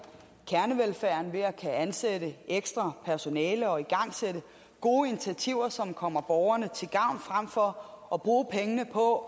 kernevelfærden ved at kunne ansætte ekstra personale og igangsætte gode initiativer som kommer borgerne til gavn frem for at bruge pengene på